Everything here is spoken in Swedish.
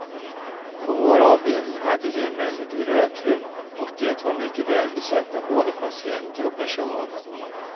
På vår avdelning hade vi emellertid rökrum och det var mycket välbesökt av både patienter och personal.